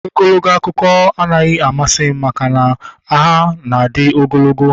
Ogologo akụkọ anaghị amasị m maka na ha na adị ogologo